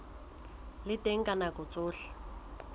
le teng ka nako tsohle